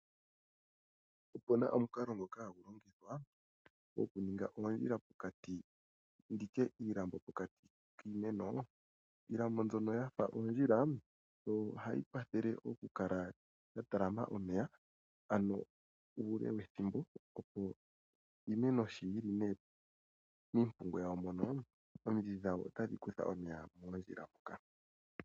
Opuna omunkalo ngoka hangulongithwa gokuninga ondjila pokati nditye iilambo pokati kiimeno, iilambo mbyono yafa ondjila ohayi kwathele okukala yatalama omeya ano ule wethimbo opo iimeno sho yili mipungu yawo mono, omidhi dhawo otadhi kutha omeya mondjila moka.